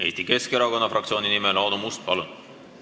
Eesti Keskerakonna fraktsiooni nimel Aadu Must, palun!